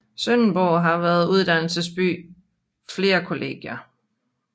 Sønderborg har som uddannelsesby flere kollegier